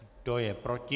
Kdo je proti?